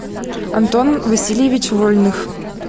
антон васильевич вольных